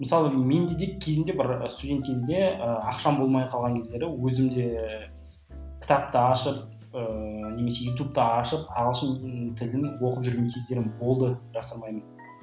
мысалы менде де кезінде бір студент кезде ыыы ақшам болмай қалған кездері өзім де кітапты ашып ыыы немесе ютубты ашып ағылшын тілін оқып жүрген кездерім болды жасырмаймын